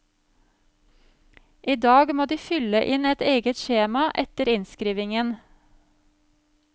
I dag må de fylle inn et eget skjema etter innskrivingen.